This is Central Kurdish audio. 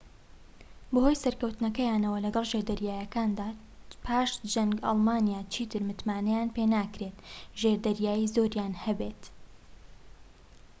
بەهۆی سەرکەوتنەکەیانەوە لەگەڵ ژێردەریاکاندا پاش جەنگ ئەڵمانیا چیتر متمانەیان پێناکرێت ژێردەریایی زۆریان هەبێت